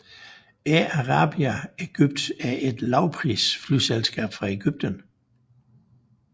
Air Arabia Egypt er et lavprisflyselskab fra Egypten